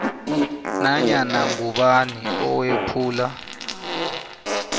nanyana ngubani owephula